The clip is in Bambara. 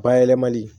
Bayɛlɛmali